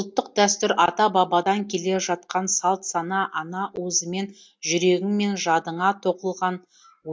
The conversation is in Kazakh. ұлттық дәстүр ата бабадан келе жатқан салт сана ана уызымен жүрегің мен жадыңа тоқылған